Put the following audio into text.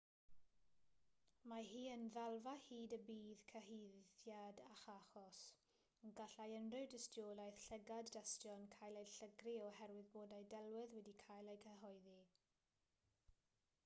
mae hi yn y ddalfa hyd y bydd cyhuddiad ac achos ond gallai unrhyw dystiolaeth llygad-dystion gael ei llygru oherwydd bod ei delwedd wedi cael ei chyhoeddi